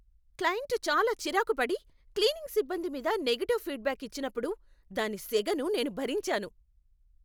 Client చాలా చిరాకు పడి, క్లీనింగ్ సిబ్బంది మీద నెగటివ్ ఫీడ్బ్యాక్ ఇచ్చినప్పుడు దాని సెగను నేను భరించాను.